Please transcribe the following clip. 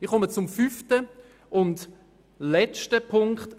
Ich komme zum fünften und letzten Punkt.